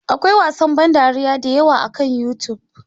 Akwai wasan ban dariya da yawa akan YouTube.